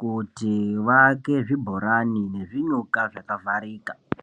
kuti vaake zvibhorani nezvinyuka zvakavharika.